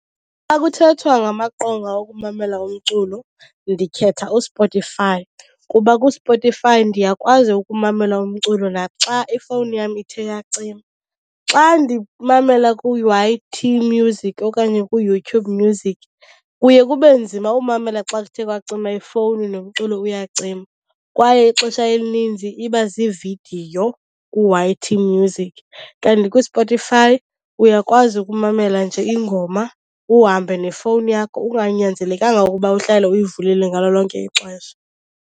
Xa kuthethwa ngamaqonga okumamela umculo ndikhetha uSpotify kuba kuSpotify ndiyakwazi ukumamela umculo naxa ifowuni yam ithe yacima. Xa ndimamela ku-Y_T Music okanye kuYouTube Music kuye kube nzima umamela, xa kuthe kwacima ifowuni nomculo uyacima. Kwaye ixesha elininzi iba ziividiyo ku-Y_T Music, kanti kuSpotify uyakwazi ukumamela nje ingoma uhambe nefowuni yakho unganyanzelekanga ukuba uhlale uyivulile ngalo lonke ixesha.